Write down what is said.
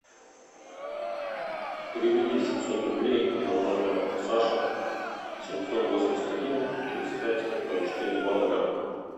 переведи семьсот рублей на номер саши семьсот восемьдесят один тридцать пять ноль четыре два нуля